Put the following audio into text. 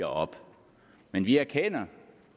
op men vi erkender